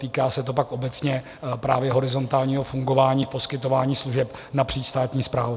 Týká se to pak obecně právě horizontálního fungování, poskytování služeb napříč státní správou.